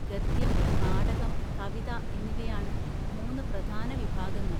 ഗദ്യം, നാടകം, കവിത എന്നിവയാണ് മൂന്ന് പ്രധാന വിഭാഗങ്ങൾ.